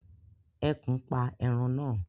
Ẹkùn pa ẹran na